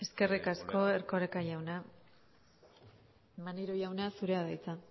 eskerrik asko erkoreka jauna maneiro jauna zurea da hitza